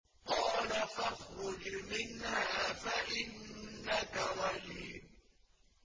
قَالَ فَاخْرُجْ مِنْهَا فَإِنَّكَ رَجِيمٌ